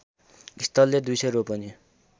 स्थलले २०० रोपनि